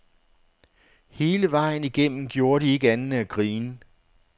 Hele vejen igennem gjorde de ikke andet end at grine.